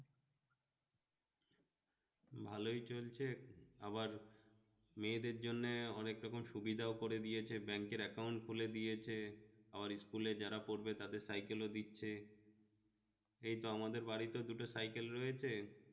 ভালোই চলছে আবার মেয়েদের জন্য অনেক রকম সুবিধা করে দিয়েছে bank এর account খুলে দিয়েছে, আমার school এ যারা পড়বে তারা cycle দিচ্ছে এইতো আমাদের বাড়িতেও দুটো cycle রয়েছ